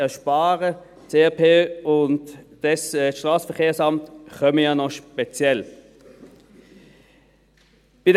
Das SAP und das Strassenverkehrsamt kommen ja noch speziell hinzu.